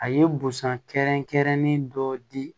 A ye busan kɛrɛnkɛrɛnnen dɔ di